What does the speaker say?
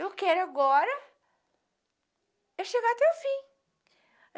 Eu quero agora... É chegar até o fim.